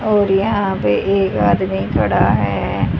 और यहां पे एक आदमी खड़ा है।